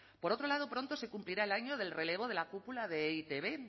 por otro lado pronto se cumplirá el año del relevo de la cúpula de e i te be